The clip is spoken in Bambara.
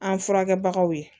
An furakɛbagaw ye